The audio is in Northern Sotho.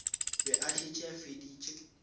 be a šetše a feditše